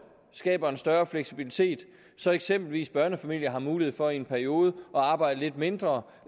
skaber en større fleksibilitet så eksempelvis børnefamilier har mulighed for i en periode at arbejde lidt mindre